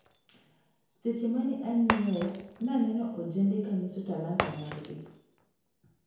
Seche mane anyiewo naneno ojende kanyiso talanta margi.